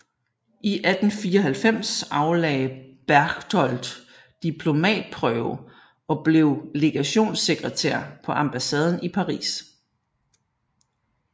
I 1894 aflagde Berchtold diplomatprøve og blev legationssekretær på ambassaden i Paris